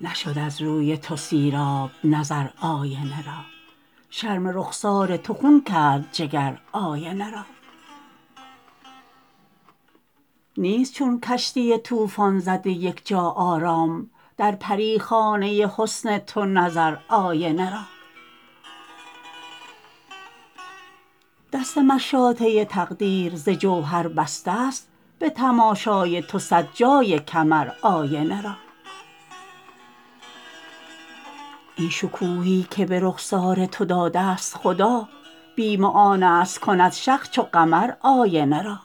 نشد از روی تو سیراب نظر آینه را شرم رخسار تو خون کرد جگر آینه را نیست چون کشتی طوفان زده یک جا آرام در پریخانه حسن تو نظر آینه را دست مشاطه تقدیر ز جوهر بسته است به تماشای تو صد جای کمر آینه را این شکوهی که به رخسار تو داده است خدا بیم آن است کند شق چو قمر آینه را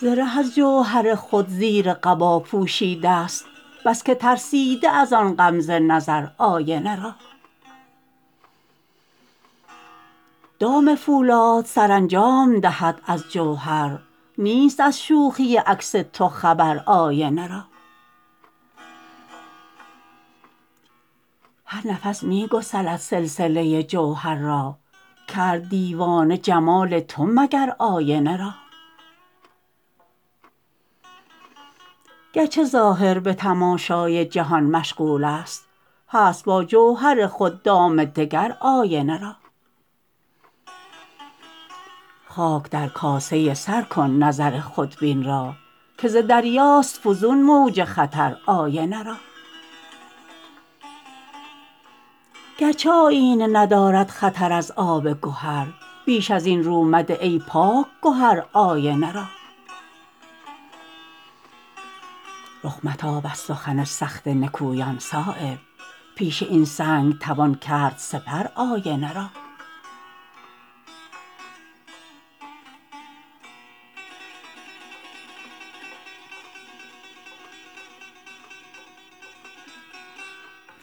زره از جوهر خود زیر قبا پوشیده است بس که ترسیده ازان غمزه نظر آینه را دام فولاد سرانجام دهد از جوهر نیست از شوخی عکس تو خبر آینه را هر نفس می گسلد سلسله جوهر را کرد دیوانه جمال تو مگر آینه را گرچه ظاهر به تماشای جهان مشغول است هست با جوهر خود دام دگر آینه را خاک در کاسه سر کن نظر خودبین را که ز دریاست فزون موج خطر آینه را گرچه آیینه ندارد خطر از آب گهر بیش ازین رومده ای پاک گهر آینه را رخ متاب از سخن سخت نکویان صایب پیش این سنگ توان کرد سپر آینه را